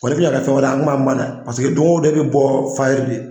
Wa n'i kun y'a kɛ fɛn wɛrɛ ye an kun m'an ban dɛ paseke don o don e bɛ bɔ fayiri de.